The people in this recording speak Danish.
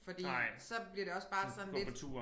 Fordi så bliver det også bare sådan lidt